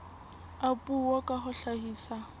a puo ka ho hlahisa